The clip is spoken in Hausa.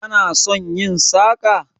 Kana son yin saƙa?